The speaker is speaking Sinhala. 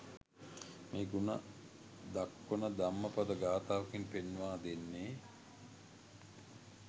මෙහි ගුණ දක්වන ධම්මපද ගාථාවකින් පෙන්වා දෙන්නේ